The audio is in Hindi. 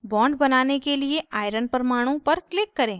bond बनाने के लिए iron परमाणु fe पर click करें